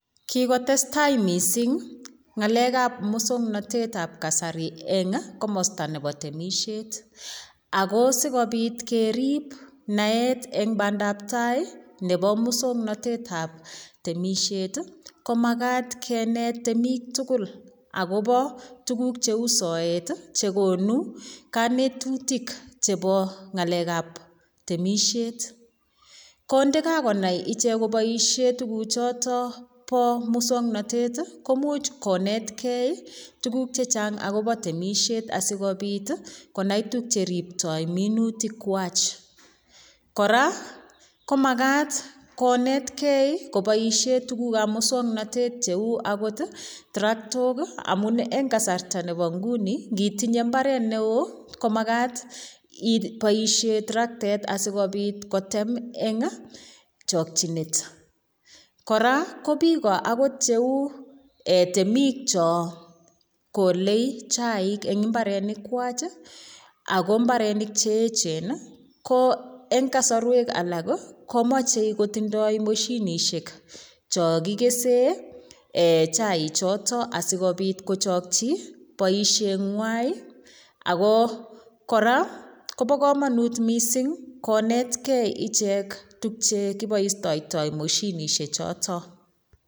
Kikotestai mising' ng'alekab muswong'notet ab kasari eng' komosta nebo temishet ako sikobit kerip naet eng' bandaptai nebo muswong'natetab temishet komakat kenet temik tugul akobo tukuk cheu soet chekonu kanetutik chebo ng'alekab temishet kondikakonai ichek koboishe tukuchoto bo muswong'notet komuuch konetkei tukuk chechang' akobo temishet asikobit konai tukche riptoi minutik wach kora komakat konetkei koboishe tukukab muswong'notet cheu akot traktok amun eng' kasarta nebo nguni ngitinye mbaret ne oo komakat iboishe traktet asikobit kotem eng' chokchinet kora ko biko akot cheu temik cho kolei chaik eng' imbarek wach Ako mbarenik cheechen ko eng' kosorwek alak komochei kotindoi moshinishek cho kikese chaichoto asikobit kochokchi boisheng'wai ako kora kobo kamanut mising' konetkei ichek tukchekiboishetitoi moshinishechoto